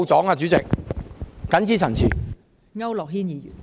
代理主席，謹此陳辭。